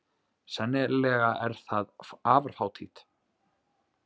Sennilega er það afar fátítt.